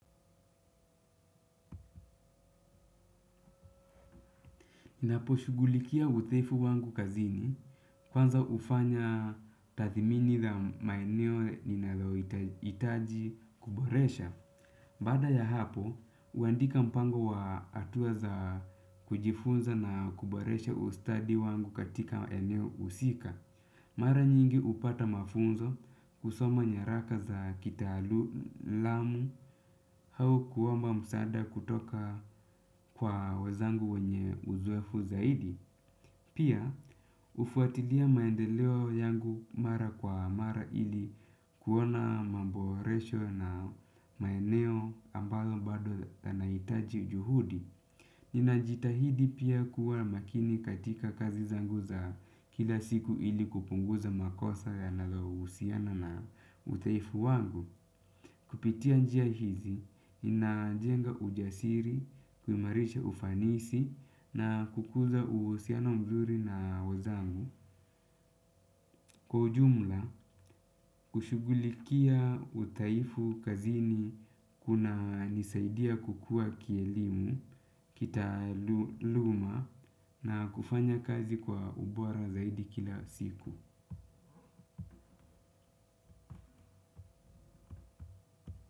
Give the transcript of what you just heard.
Ninaposhugulikia udhaifu wangu kazini kwanza hufanya tathmini za maeneo ninalohitaji kuboresha. Baada ya hapo, huandika mpango wa hatua za kujifunza na kuboresha ustadi wangu katika eneo husika. Mara nyingi hupata mafunzo kusoma nyaraka za kitalu lamu au kuomba msaada kutoka kwa wenzangu wenye uzoefu zaidi. Pia hufuatilia maendeleo yangu mara kwa mara ili kuona mambo resho na maeneo ambayo bado yanahitaji juhudi. Ninajitahidi pia kuwa makini katika kazi zangu za kila siku ili kupunguza makosa yanayohusiana na udhaifu wangu. Kupitia njia hizi, inajenga ujasiri, kuimarisha ufanisi na kukuza uhusiano mzuri na wenzangu. Kwa ujumla kushughulikia udhaifu kazini kunanisaidia kukua kielimu kitaaluma na kufanya kazi kwa ubora zaidi kila siku.